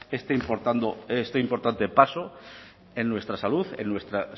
este importante paso en nuestra salud en nuestro